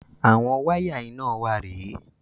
Àwọn wáyà iná wa rè é.